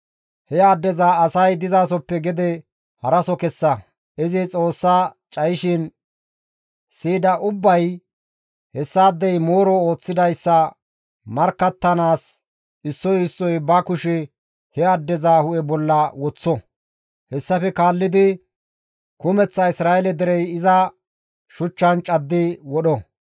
«He addeza asay dizasoppe gede haraso kessa; izi Xoossa cayishin siyida ubbay hessaadey mooro ooththidayssa markkattanaas issoy issoy ba kushe he addeza hu7e bolla woththo; hessafe kaallidi kumeththa Isra7eele derey iza shuchchan caddi wodho.